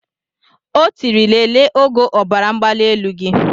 O tiri lelee ogo ọbaramgbalielu gị.